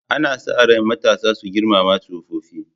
Ana sa ran matasa su girmama tsofaffi.